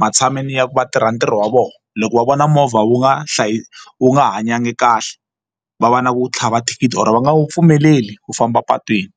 matshan'wini ya ku va tirha ntirho wa vona loko va vona movha wu nga hlayi wu nga hanyanga kahle va va na ku tlhava thikithi or va nga wu pfumeleli ku famba epatwini.